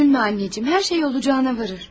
Üzülmə, anacığım, hər şey olacağına varır.